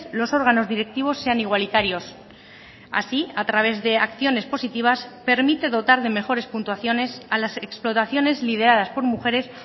los órganos directivos sean igualitarios así a través de acciones positivas permite dotar de mejores puntuaciones a las explotaciones lideradas por mujeres